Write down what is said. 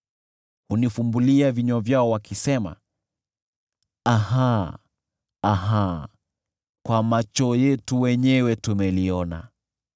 Hunifumbulia vinywa vyao wakisema, “Aha! Aha! Kwa macho yetu wenyewe tumeliona.”